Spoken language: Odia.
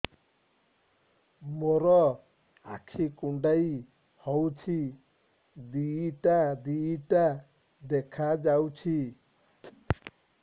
ମୋର ଆଖି କୁଣ୍ଡାଇ ହଉଛି ଦିଇଟା ଦିଇଟା ଦେଖା ଯାଉଛି